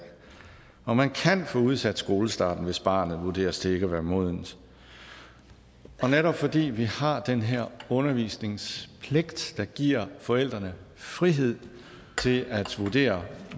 at man kan få udsat skolestarten hvis barnet vurderes til ikke at være modent og netop fordi vi har den her undervisningspligt der giver forældrene frihed til at vurdere